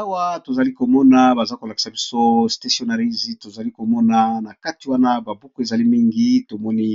Awa to zali ko mona baza ko lakisa biso stationnariy, to zali ko mona na kati wana ba buku ezali mingi, to moni